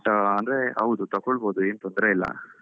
ಅಂದ್ರೆ ಹೌದು ತಗೋಳ್ಬೋದು ಏನು ತೊಂದ್ರೆ ಇಲ್ಲ.